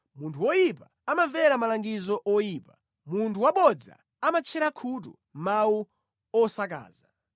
Munthu woyipa amamvera malangizo oyipa; munthu wabodza amatchera khutu mawu osakaza.